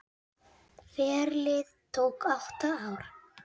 Ferlið tók átta ár.